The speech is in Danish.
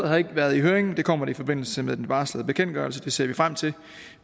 har ikke været i høring det kommer det i forbindelse med den varslede bekendtgørelse det ser vi frem til